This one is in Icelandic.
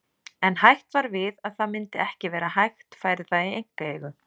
En hætt var við að það myndi ekki vera hægt færi það í einkaeigu.